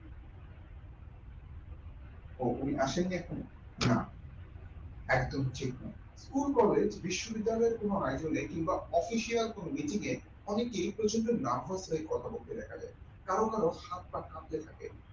ও উনি আসেননি এখনো না একদমই ঠিক নয়। school collage বিশ্ববিদ্যালয় তুলনায় ধরলে কিংবা official কোন mitting এ অনেকেই প্রচন্ড narvash হয়ে কথা বলতে দেখা যায় কারো কারো হাত পা কাঁপতে থাকে।